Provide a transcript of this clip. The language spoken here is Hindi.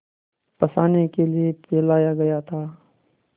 फँसाने के लिए फैलाया गया था